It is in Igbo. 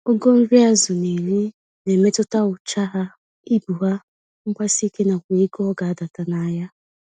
Ogo nri azụ n'eri, na-emetụta ụcha ya, ibu ya, mgbasike nakwa ego ọgadata nahịa